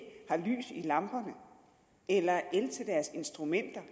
har lys i lamperne eller el til deres instrumenter